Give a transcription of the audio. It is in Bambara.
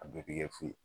A bɛɛ tɛ kɛ fu ye